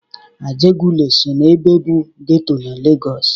Ajegunle so na ebe bụ getọ na Lagọs.